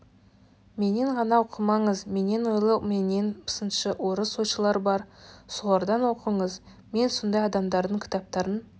менен ғана оқымаңыз менен ойлы менен сыншы орыс ойшылары бар солардан оқыңыз мен сондай адамдардың кітаптарын